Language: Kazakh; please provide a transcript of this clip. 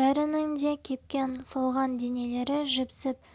бәрінің де кепкен солған денелері жіпсіп